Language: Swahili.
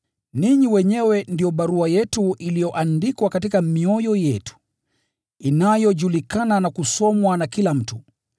Ninyi wenyewe ndio barua yetu iliyoandikwa katika mioyo yetu, inayojulikana na kusomwa na kila mtu.